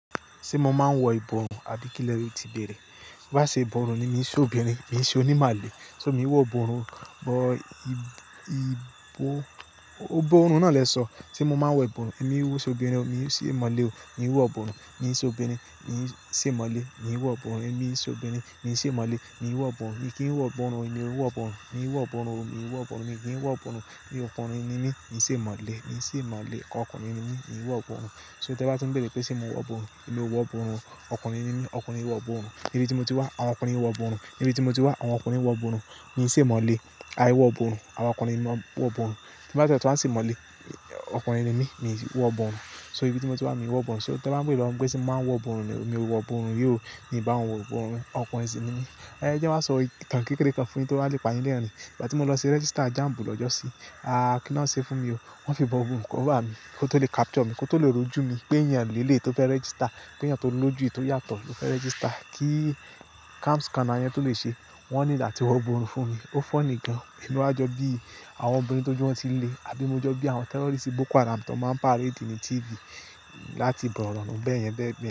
Ṣé mo máa ń wọ ìbọrùn àbí kí lẹ ti bèrè? Bí bá ṣe ìbọrùn ni mi ò ṣe obìnrin, mi ò ṣe onímọ̀lé. So mi ò wọ ìbọrùn, but ìbọ-- ọ̀bọ ń náà lẹ sọ, ṣe mo máa ń wọ ìbọrùn? Èmi ò ṣe obìnrin, mi ò ṣe mọ̀lé o, mi ò wọ ìbọrùn, mi ò ṣe obìnrin, mi ò ṣe mọ̀lé, mi ò wọ ìbọrùn, èmi ò ṣe obìnrin, mi ò ṣe mọ̀lé, mi ò wọ ìbọrùn, mi kì í wọ ìbọrùn o, èmi ò wọ ìbọrùn, mi ò wọ ìbọrùn o, mi ò wọ ìbọrùn, mi kì í wọ ìbọrùn o, mi ọkùnrin ni mí, mi ò ṣe mọ̀lé, mi ò ṣe mọ̀lé, ọkùnrin ni mí, mi ò wọ ìbọrùn. So tí ẹ bá tí ń bèrè pé ṣe mo wọ ìborùn emi ò wọ ìborùn o, ọkùnrin ni mí, ọkùnrin ò wọ ìborùn. Nibiti mo ti wá, àwọn ọkùnrin ò wọ ìborùn. Nibiti mo ti wá, àwọn ọkùnrin ò wọ ìborùn. Mi ò ṣe mọ̀lé. Aì wọ ìborùn. Àwọn ọkùnrin ki maa wọ ìborùn. Tí bá ti ẹ tún wa ṣe mọ̀lé, ọkùnrin ni mí, mi ò wọ ìborùn. So ibi tí mo ti wá mi ò wọ ìbọrùn. So tí ẹ bá ń bere pé ṣé mo máa ń wọ ìborùn ni emi ò wọ ìborùn ri o, mi bá wọn wọ ìborùn, ọkùnrin sì ni mí. Ẹ jẹ́ n wá sọ ìtàn kékeré kan fún yín tó wá le pàyin lẹrín. Ìgbà tí mo lọ ṣe register JAMB lọ́jọ́ sí, aáà kí ni wọn ṣe fún mi o? Wọ́n fi ìborùn cover mí kó tó lè capture mi, kó tó lè rojú mi pé èèyàn ni eleyi tó fẹ́ register, péyàn tó lójú yi tò yàtọ̀ ló fẹ́ register. Kí cam scanner yẹn tó lè ṣe, wọ́n ní need à tí wọ ìborùn fún mi. Ó funny gan. Ìlú àjọ bí àwọn obìnrin tó juwọ́n ti ń le àbí mọ́jọ́ bí àwọn terrorist bóko haram tan máa ń parade ní TV láti bọ́rọ̀ wọn bẹ́ẹ̀ yẹn bẹ́ẹ̀ be.